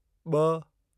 ॿ